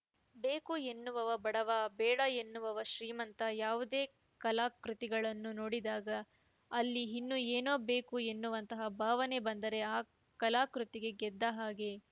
ಬೇಕು ಎನ್ನುವವ ಬಡವ ಬೇಡ ಎನ್ನುವವ ಶ್ರೀಮಂತ ಯಾವುದೇ ಕಲಾಕೃತಿಗಳನ್ನು ನೋಡಿದಾಗ ಅಲ್ಲಿ ಇನ್ನೂ ಏನೋ ಬೇಕು ಅನ್ನುವಂಥ ಭಾವನೆ ಬಂದರೆ ಆ ಕಲಾಕೃತಿ ಗೆದ್ದ ಹಾಗೆ